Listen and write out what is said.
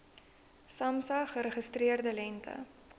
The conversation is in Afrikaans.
samsa geregistreerde lengte